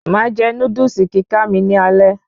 Máa jẹ Núdúsì kíká mi ni alẹ́